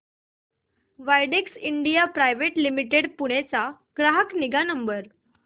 Widex India private limited Pune चा ग्राहक निगा नंबर